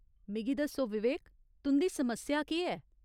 मिगी दस्सो विवेक, तुं'दी समस्या केह् ऐ ?